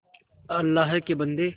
अल्लाह के बन्दे